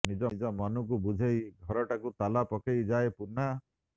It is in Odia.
ନିଜ ମନକୁ ବୁଝେଇ ଘରଟାକୁ ତାଲା ପକେଇ ଯାଏ ପୁନା